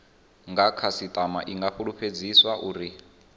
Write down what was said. khasitama i nga fulufhedziswa uri